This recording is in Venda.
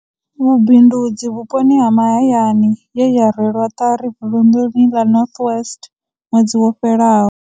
Vhubindudzi vhuponi ha mahayani ye ya rwelwa ṱari vunḓuni ḽa North West ṅwedzi wo fhelaho.